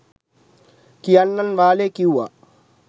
කියන්නන් වාලේ කිව්වා.